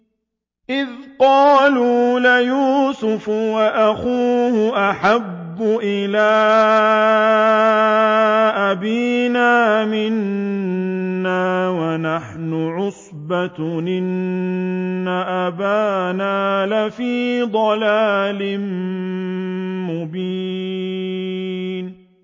إِذْ قَالُوا لَيُوسُفُ وَأَخُوهُ أَحَبُّ إِلَىٰ أَبِينَا مِنَّا وَنَحْنُ عُصْبَةٌ إِنَّ أَبَانَا لَفِي ضَلَالٍ مُّبِينٍ